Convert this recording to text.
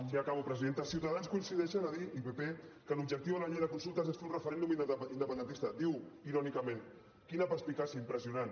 sí acabo presidenta ciutadans coincideixen a dir i pp que l’objectiu de la llei de consultes és fer un referèndum independentista diu irònicament quina perspicàcia impressionant